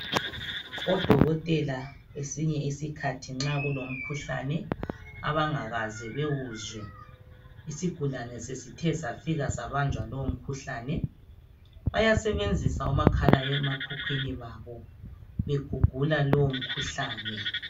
Odokotela kwesinye isikhathi nxa kulomkhuhlane abangakaze bawuzwe. Isigulane sesithe sabanjwa lowo mkhuhlane bayasebenzisa omakhala ekhukhwini babo, begugula lowo mkhuhlane.